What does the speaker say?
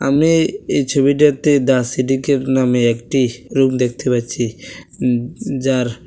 মেয়ে এই ছবিটাতে দ্য সিটি ক্যাফ নামে একটি রুম দেখতে পাচ্ছি উম যার--